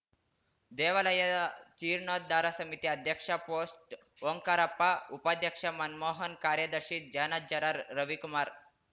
ದೇವಾಲಯದ ಜೀರ್ಣೋದ್ದಾರ ಸಮಿತಿ ಅಧ್ಯಕ್ಷ ಪೋಸ್ಟ್‌ ಓಂಕಾರಪ್ಪ ಉಪಾಧ್ಯಕ್ಷ ಮನ್ ಮೋಹನ್‌ ಕಾರ್ಯದರ್ಶಿ ಜಾನಜ್ಜರ ರವಿಕುಮಾರ್‌